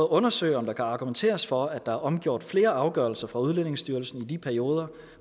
undersøge om der kan argumenteres for at der er omgjort flere afgørelser fra udlændingestyrelsen i de perioder